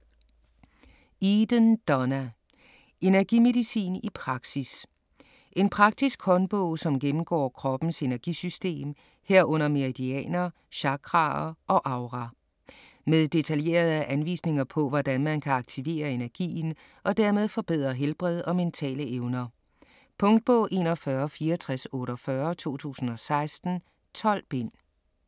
Eden, Donna: Energimedicin i praksis En praktisk håndbog som gennemgår kroppens energisystem, herunder meridianer, chakraer og aura. Med detaljerede anvisninger på hvordan man kan aktivere energien og dermed forbedre helbred og mentale evner. Punktbog 416448 2016. 12 bind.